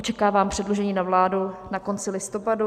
Očekávám předložení na vládu na konci listopadu.